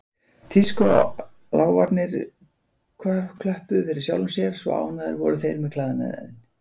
Tískuláfarnir klöppuðu fyrir sjálfum sér, svo ánægðir voru þeir með klæðnaðinn.